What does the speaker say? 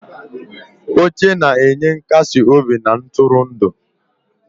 Oche na-enye nkasi obi na ntụrụndụ.